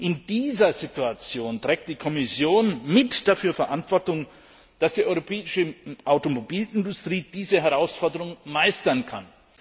In dieser Situation trägt die Kommission mit dafür Verantwortung, dass die europäische Automobilindustrie diese Herausforderung meistern kann.